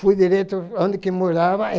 Fui direto onde que morava.